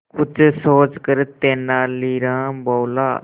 कुछ सोचकर तेनालीराम बोला